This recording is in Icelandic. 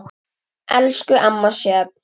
Elsku amma Sjöfn.